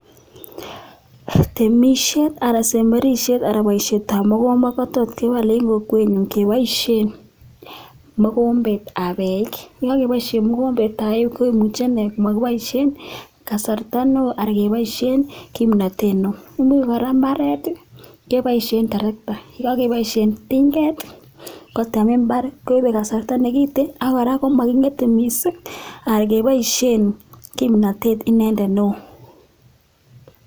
Temishet anan semberishet anan boisietab mogombet, kotot kewal en kokwenyun keboishen mogombetab eik. Ye kogeboisien mogombet ab komuche ine komokiboisien kasarta neo anan keboisien kimnatet neo. Imuch kora mbaret keboisien terekta. Ye kogeboisiien tinget kotem mbar koibe kasarta negiten ak kora moging'ete missing anan keboisien kimnatet inendet neo.